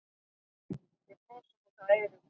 Við brosum út að eyrum.